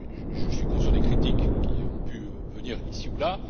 Je suis conscient des critiques qui ont pu venir ici ou